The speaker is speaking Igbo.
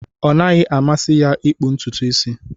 Ọ naghị amasị ya ịkpụ ntutu isi.